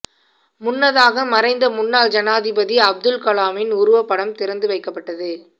முன்னதாக மறைந்த முன்னாள் ஜனாதிபதி அப்துல் கலாமின் உருவப்படம் திறந்து வைக்கப் பட்டது